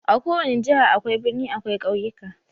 A kowani jiha akwai birni akwai ƙauyuka.